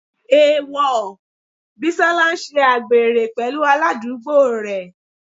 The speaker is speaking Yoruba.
Èèwọ̀, Bísọ́lá ń ṣe àgbèrè pẹ̀lú aládùúgbò rẹ̀.